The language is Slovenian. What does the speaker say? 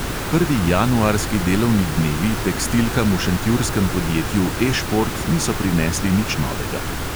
Prvi januarski delovni dnevi tekstilkam v šentjurskem podjetju E šport niso prinesli nič novega.